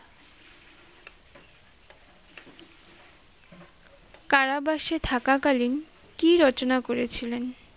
কারাবাসে থাকা কালিন কী রচনা করেছিলেন?